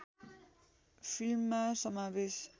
फिल्ममा समावेश